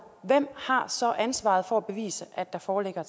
hvem har så ansvaret for at bevise at der foreligger